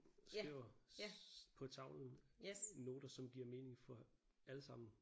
Skriver på tavlen noter som giver mening for alle sammen